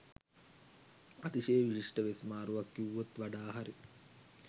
අතිශය විශිෂ්ට වෙස් මාරුවක් කිව්වොත් වඩා හරි